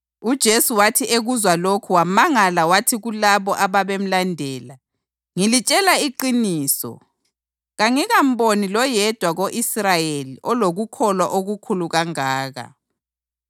UJesu wathi ekuzwa lokhu wamangala wathi kulabo ababemlandela, “Ngilitshela iqiniso, kangikamboni loyedwa ko-Israyeli olokukholwa okukhulu kangaka.